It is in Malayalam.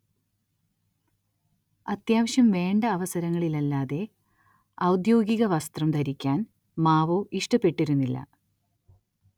അത്യാവശ്യം വേണ്ട അവസരങ്ങളില്ലല്ലാതെ ഔദ്യോഗിക വസ്ത്രം ധരിക്കാൻ മാവോ ഇഷ്ടപ്പെട്ടിരുന്നില്ല.